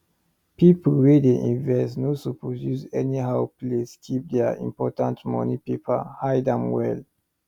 people wey dey invest no suppose use anyhow place keep their important money paper hide am well